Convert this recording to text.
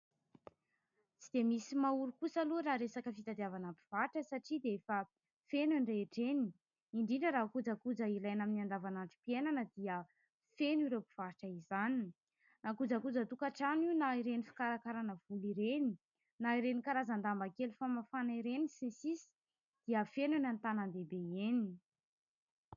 Tsy dia misy maha ory kosa aloha raha resaka fitadiavana mpivarotra satria dia efa feno eny rehetra eny, indrindra raha kojakoja ilaina amin'ny andavanandrom-piainana dia feno ireo mpivarotra izany na kojakojan-tokatrano io na ireny fikarakaràna volo ireny na ireny karazan-damba kely famafàna ireny sy ny sisa dia feno eny antanàn-dehibe eny.